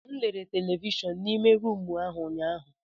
M lere televishọn n'ime rumụ ahụ ụnyaahụ.